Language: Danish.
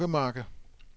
Stokkemarke